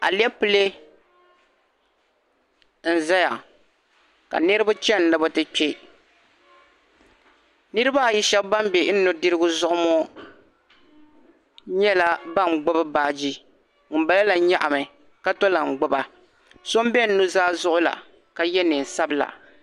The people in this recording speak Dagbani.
Alipɛle n zaya ka niriba chɛni ni bɛ ti kpe niriba ayi shɛba ban bɛ n nudirigu zuɣu mɔ nyɛla ban gbubi baagi ŋun bala la nyaɣi mi ka tɔm lahi gbuba so n bɛ n nuzaa zuɣu la ka yɛ nɛɛn sabila.